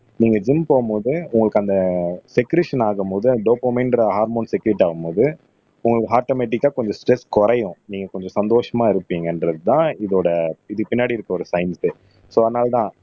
நீங்க ஜிம் போகும்போது உங்களுக்கு அந்த செக்ரீஷன் ஆகும்போது அந்த டோபோமைன்ற ஹார்மோன் செக்ரீட் ஆகும்போது உங்களுக்கு ஆட்டோமேட்டிக்கா கொஞ்சம் ஸ்ட்ரெஸ் குறையும் நீங்க கொஞ்சம் சந்தோஷமா இருப்பீங்கன்றதுதான் இதோட இதுக்கு பின்னாடி இருக்கிற ஒரு சயின்ஸே சோ அதனாலதான்